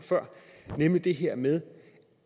nemlig det her med